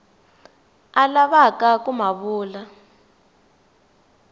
a lavaka ku ma vula